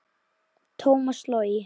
Tómas Logi.